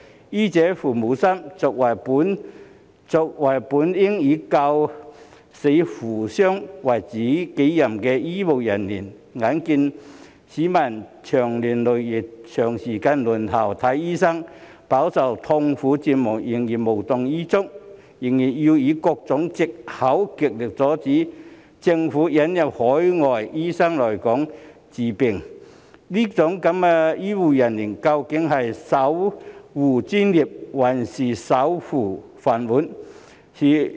醫者父母心，作為本應以救死扶傷為己任的醫護人員，眼見市民長年累月地長時間輪候看醫生，飽受痛苦折磨仍然無動於衷，仍然要以各種藉口極力阻止政府引入海外醫生來港治病，這樣的醫護人員，究竟是守護專業，還是守護飯碗？